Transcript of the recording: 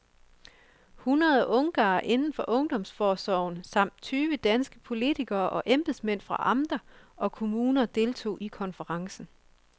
Hundrede ungarere inden for ungdomsforsorgen samt tyve danske politikere og embedsmænd fra amter og kommuner deltog i konferencen.